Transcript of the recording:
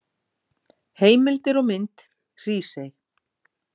Heimildir og mynd Hrísey.